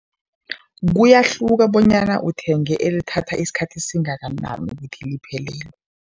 Kuyahluka bonyana uthenge elithatha isikhathi esingakanani ukuthi liphelelwe.